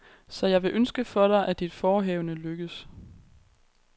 Så jeg vil ønske for dig, at dit forehavende lykkes.